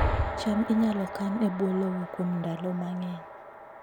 cham inyalo kan e bwo lowo kuom ndalo mang'eny